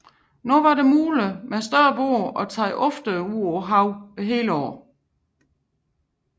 Nu var det muligt med større både at tage oftere ud på havet året rundt